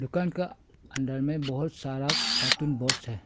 दुकान का अंदर में बहुत सारा कार्टून बॉक्स है।